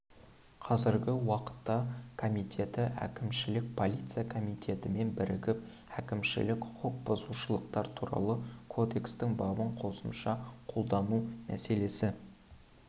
қазіргі уақытта комитеті әкімшілік полиция комитетімен бірігіп әкімшілік құқық бұзушылықтар туралы кодекстің бабын қосымша қолдану мәселесі